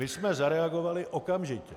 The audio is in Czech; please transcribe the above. My jsme zareagovali okamžitě.